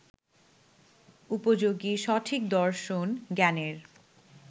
উপযোগী সঠিক দর্শন জ্ঞানের